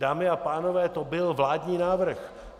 Dámy a pánové, to byl vládní návrh.